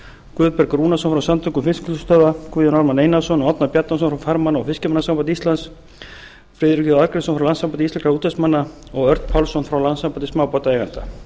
guðberg rúnarsson frá samtökum fiskvinnslustöðva guðjón ármann einarsson og árna bjarnason frá farmanna og fiskimannasambandi íslands friðrik j arngrímsson frá landssambandi íslenskra útvegsmanna og örn pálsson frá landssambandi smábátaeigenda